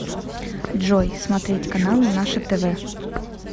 джой смотреть каналы наше тв